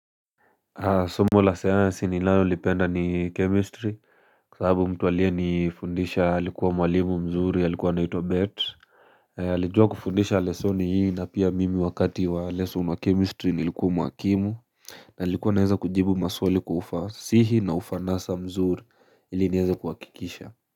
Somo la sayansi ninalolipenda ni chemistry, kwa sababu mtu aliyenifundisha alikuwa mwalimu mzuri, alikuwa anaitwa Bert. Alijuakufundisha lesoni hii na pia mimi wakati wa lesson wa chemistry nilikuwa mwakimu. Na ilikuwa naeza kujibu maswali kwa ufasihi na ufanasa mzuri ili niweze kuhakikisha.